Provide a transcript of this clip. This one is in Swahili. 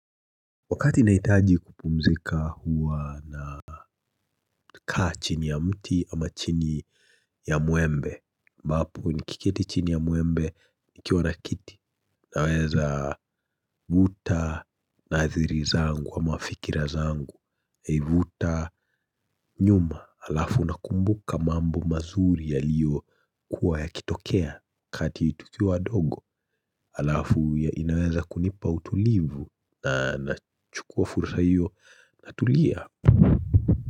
Wakati nahitaji kupumzika huwa nakaa chini ya mti ama chini ya mwembe ambapo nikiketi chini ya mwembe nikiwa na kiti. Naweza vuta athiri zangu au mafikira zangu. Naivuta nyuma alafu nakumbuka mambo mazuri yaliyokuwa ya kitokea. Kati tukiwa wadogo alafu inaweza kunipa utulivu na nachukua fursa hiyo natulia.